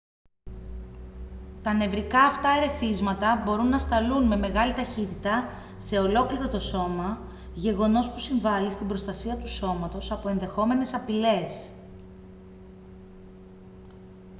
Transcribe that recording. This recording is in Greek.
τα νευρικά αυτά ερεθίσματα μπορούν να σταλούν με μεγάλη ταχύτητα σε ολόκληρο το σώμα γεγονός που συμβάλει στην προστασία του σώματος από ενδεχόμενες απειλές